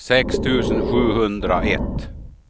sex tusen sjuhundraett